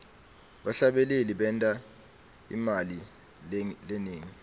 bahlabeleli benta imali lenengi